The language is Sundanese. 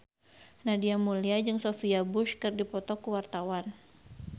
Nadia Mulya jeung Sophia Bush keur dipoto ku wartawan